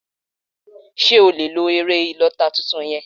Sé o lè lo èrẹ̀ ìlota tuntun yen?